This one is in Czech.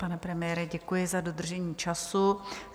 Pane premiére, děkuji za dodržení času.